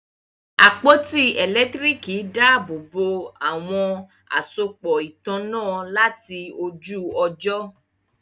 àpótí elekitiriki dàbobo àwọn àsopọ ìtanná láti ojú ojo.